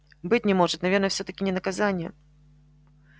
быть не может наверное всё-таки не наказание